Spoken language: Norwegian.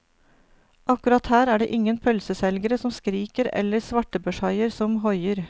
Akkurat her er det ingen pølseselgere som skriker eller svartebørshaier som hoier.